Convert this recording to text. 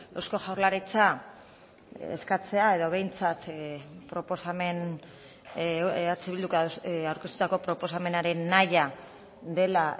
eusko jaurlaritza eskatzea edo behintzat proposamen eh bilduk aurkeztutako proposamenaren nahia dela